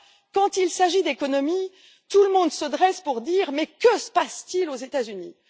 Quand il s'agit d'économie, tout le monde se dresse pour dire Mais que se passe t il aux États Unis?